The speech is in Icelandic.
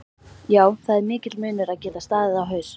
Já það er mikill munur að geta staðið á haus